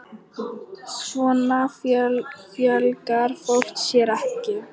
Svona fjölgar fólk sér ekki!